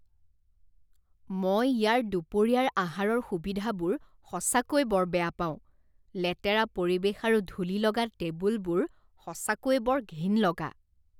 মই ইয়াৰ দুপৰীয়াৰ আহাৰৰ সুবিধাবোৰ সঁচাকৈ বৰ বেয়া পাওঁ, লেতেৰা পৰিৱেশ আৰু ধূলিলগা টেবুলবোৰ সঁচাকৈয়ে বৰ ঘিণ লগা।